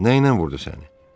Nəylə vurdu səni?